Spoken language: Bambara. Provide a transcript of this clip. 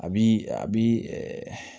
A bi a bi